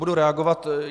Budu reagovat.